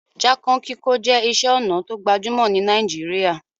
Jákàn kíkó je isé onà to gbajúmò ni Naijiria